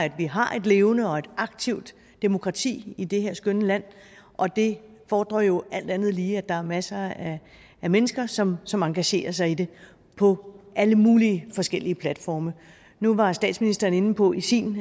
at vi har et levende og et aktivt demokrati i det her skønne land og det fordrer jo alt andet lige at der er masser af mennesker som som engagerer sig i det på alle mulige forskellige platforme nu var statsministeren inde på i sin